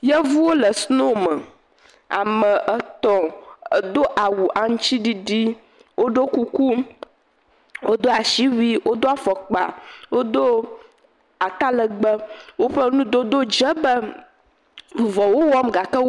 Yevuwo le sinoo me. Ame etɔ̃ do awu aŋutsiɖiɖi. Wodo kuku, wodo ashiwui, wodo afɔkpa, wodo atalɛgbɛ. Woƒe nudodo dze be vuvɔ wo wɔm gake.